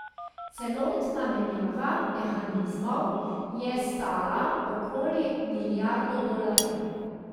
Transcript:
Celotna menjava mehanizmov je stala okoli milijardo dolarjev.